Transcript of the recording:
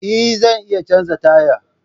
Eh! zan iya canza taya